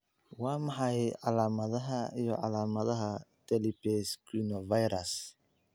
Waa maxay calaamadaha iyo calaamadaha Talipes equinovarus?